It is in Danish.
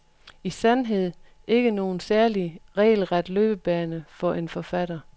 I sandhed ikke nogen særlig regelret løbebane for en forfatter.